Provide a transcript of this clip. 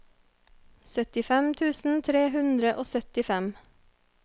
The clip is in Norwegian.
syttifem tusen tre hundre og syttifem